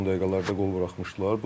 Son dəqiqələrdə qol buraxmışdılar.